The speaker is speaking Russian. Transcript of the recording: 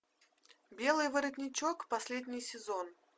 белый воротничок последний сезон